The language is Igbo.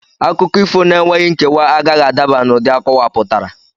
Akụkọ ifo n'enweghị nkewa agaghị adaba n'ụdị akọwapụtara.